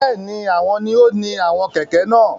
Bẹẹni, awọn ni o ni àwọn kẹkẹ náà